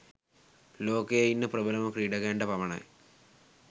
ලෝකයේ ඉන්න ප්‍රබලම ක්‍රීඩකයන්ට පමණයි.